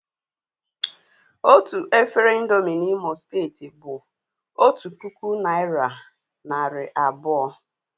Otu efere ị̀ndómị́ N'Imo steeti bụ otu puku naị́ra narị abụọ